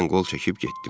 Mən qol çəkib getdim.